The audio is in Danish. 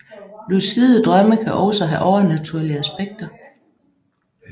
Lucide drømme kan også have overnaturlige aspekter